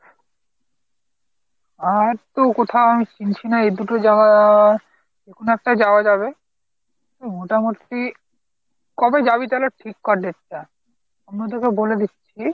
আর তো কোথাও আমি চিনছি না এ'দুটো জাগার যে কোন একটায় যাওয়া যাবে, মোটামুটি কবে যাবি তালে ঠিক কর date টা। অন্যদের কেউ বলে দিচ্ছি।